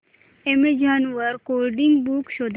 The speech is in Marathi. अॅमेझॉन वर कोडिंग बुक्स शोधा